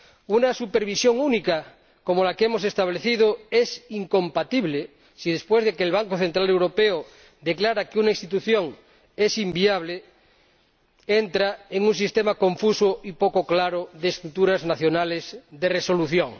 Una supervisión única como la que hemos establecido es incompatible si, después de que el Banco Central Europeo declara que una institución es inviable, entra en un sistema confuso y poco claro de estructuras nacionales de resolución.